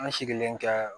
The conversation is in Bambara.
An sigilen tɛ